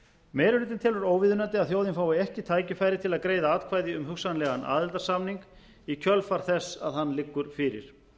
meiri hlutinn telur óviðunandi að þjóðin fái ekki tækifæri til að greiða atkvæði um hugsanlegan aðildarsamning í kjölfar þess að hann liggur fyrir